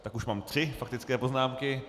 Tak už mám tři faktické poznámky.